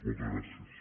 moltes gràcies